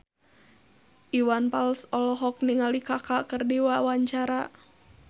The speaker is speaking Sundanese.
Iwan Fals olohok ningali Kaka keur diwawancara